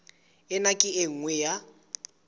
ena ke e nngwe ya